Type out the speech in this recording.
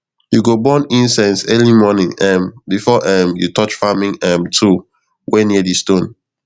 you go burn incense early morning um before um you touch farming um tool wey near di stone